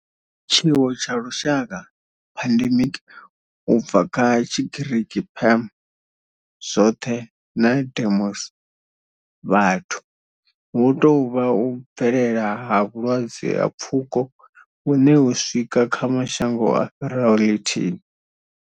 Tshiwo tsha lushaka, pandemic, u bva kha Tshigiriki pan, zwothe na demos, vhathu, hu tou vha u bvelela ha vhulwadze ha pfuko hune ho swika kha mashango a fhiraho lithihi.